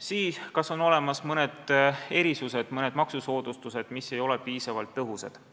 Siis tuleb vaadata, kas on olemas mõned erisused, mõned maksusoodustused, mis ei ole piisavalt tõhusad.